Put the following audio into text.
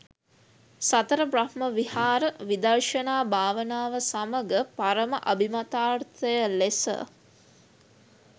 සතර බ්‍රහ්ම විහාර, විදර්ශනා භාවනාව සමඟ පරම අභිමතාර්ථය ලෙස